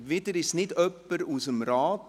Wieder ist es nicht jemand aus dem Rat.